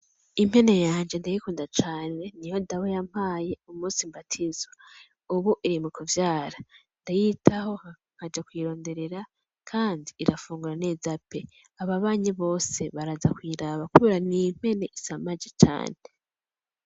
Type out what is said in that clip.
Impene yanje ndayikunda cane, niyo Dawe yamape umunsi mbatizwa, ub' iri mu kuvyara ndayitaho nkaja kuyironderera kandi irafungura neza pe! Ababanyi bose baraza kuyiraba kubera n'impene isamaje cane.